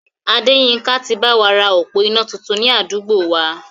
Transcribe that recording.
Adéyínká ti báwa ra òpó iná tuntun ni àdúgbò wa